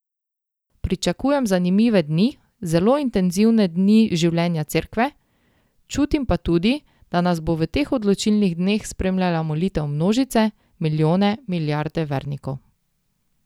Pričakujem zanimive dni, zelo intenzivne dni življenja Cerkve, čutim pa tudi, da nas bo v teh odločilnih dneh spremljala molitev množice, milijone, milijarde vernikov.